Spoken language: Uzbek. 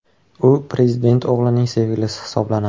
U prezident o‘g‘lining sevgilisi hisoblanadi.